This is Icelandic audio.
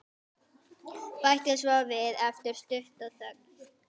Bætti svo við eftir stutta þögn.